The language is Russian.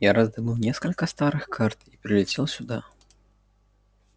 я раздобыл несколько старых карт и прилетел сюда